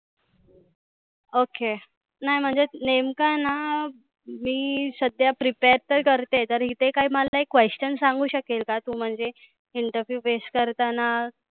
Okay नाय म्हणजे नेमक ना मी सध्या prepare तर करते तरी तिथे काय मला like questions सांगु शकेल का तु म्हणजे. interview face करताना.